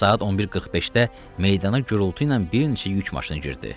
Saat 11:45-də meydana gurultu ilə bir neçə yük maşını girdi.